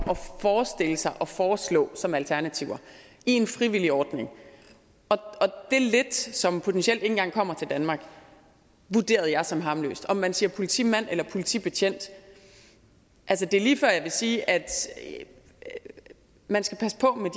forestille sig at foreslå som alternativer i en frivillig ordning og det lidt som potentielt ikke engang kommer til danmark vurderede jeg som harmløst om man siger politimand eller politibetjent det er lige før jeg vil sige at man skal passe på